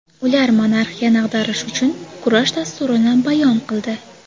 Ular monarxiyani ag‘darish uchun kurash dasturini bayon qildi.